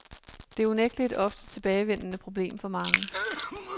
Det er unægtelig et ofte tilbagevende problem for mange.